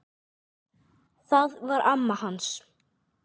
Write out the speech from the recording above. Það var amma hans